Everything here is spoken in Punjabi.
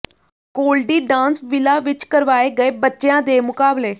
ਗੋਲਡੀ ਡਾਂਸ ਵਿਲਾ ਵਿੱਚ ਕਰਵਾਏ ਗਏ ਬੱਚਿਆਂ ਦੇ ਮੁਕਾਬਲੇ